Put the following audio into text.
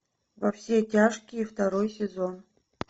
во все тяжкие второй сезон